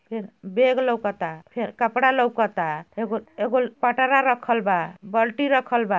Bag लोकता फेर कपड़ा लोकता एगो एगोल पटारा रखल बा बाल्टी रखल बा।